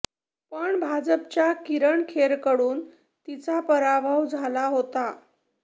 पण भाजपच्या किरण खेरकडून तिचा पराभव झाला होता